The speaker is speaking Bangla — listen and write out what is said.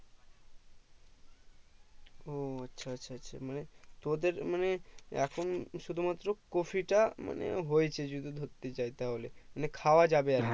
ও আচ্ছা আচ্ছা মানে তোদের মানে এখন শুধু মাত্র কপিটা মানে হয়েছে যদি ধরতে যাই যদি তাহলে মানে খাওয়া যাবে আরকি